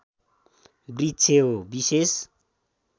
वृक्ष हो विशेष